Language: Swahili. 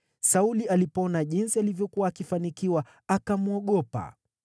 Sauli alipoona jinsi alivyokuwa akifanikiwa, akamwogopa.